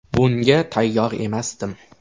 Bunga tayyor emasdim.